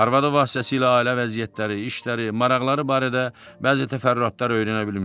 Arvadı vasitəsilə ailə vəziyyətləri, işləri, maraqları barədə bəzi təfərrüatlar öyrənə bilmişdi.